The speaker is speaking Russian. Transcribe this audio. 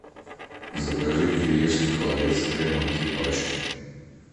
закажи кириешки холодец с хреном три пачки